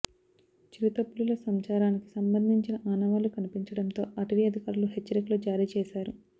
చిరుత పులుల సంచారానికి సంబంధించిన ఆనవాళ్లు కనిపించడంతో అటవీ అధికారులు హెచ్చరికలు జారీ చేశారు